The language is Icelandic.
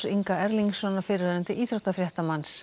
Inga Erlingssonar fyrrverandi